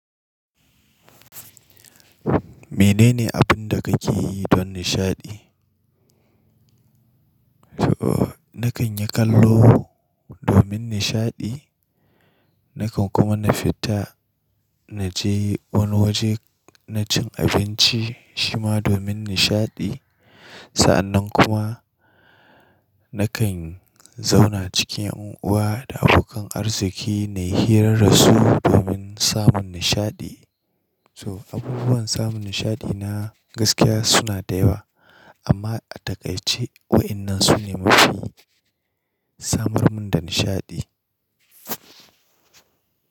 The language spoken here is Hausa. Menene abun da kake yi don nishaɗi? To, na kan yi kallo domin nishaɗi, na kan kuma na fita na je wani waje na cin abinci shima domin nishaɗi. Sa'annan kuma na kan zauna cikin yan uwa da abokan arziki na yi shira su domin samun nishaɗi. So, abubuwan samun nishaɗi na gaskiya suna da yawa amma a takaice waɗannan su ne mafi samar mun da nishaɗi.